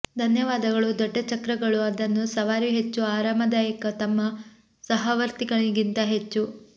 ಧನ್ಯವಾದಗಳು ದೊಡ್ಡ ಚಕ್ರಗಳು ಅದನ್ನು ಸವಾರಿ ಹೆಚ್ಚು ಆರಾಮದಾಯಕ ತಮ್ಮ ಸಹವರ್ತಿಗಳಿಗಿಂತ ಹೆಚ್ಚು